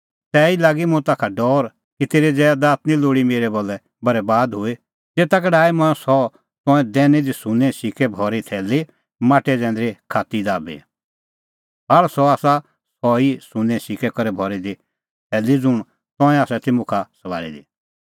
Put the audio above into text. तैही लागी मुंह ताखा डौर कि तेरी ज़ैदात निं लोल़ी मेरै भलै बरैबाद हुई तेता का डाही मंऐं सह तंऐं दैनी दी सुन्नें सिक्कै करै भरी थैली माटै जैंदरी खात्ती दाबी भाल़ अह आसा सह ई सुन्नें सिक्कै करै भरी दी थैली ज़ुंण तंऐं आसा ती मुखा सभाल़ी दी